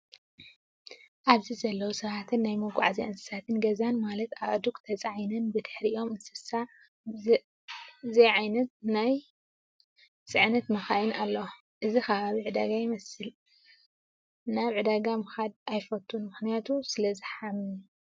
ኣብዚ ዘለው ሰባትን ናይ መጉዓዝያ እንስሳ ገዛን ማለት ኣእዱግ ተፃዒነን ብድሕሪአም ኣይሱስ ዛዓይነተን ናይ ፅዕነት መካይን ኣለዋ። እዚ ከባቢ ዕዳጋ ይመስል። ኣን ናብ ዕዳ ምካድ ኣይፈቱን ምክንያቱ ስለዝሓምም።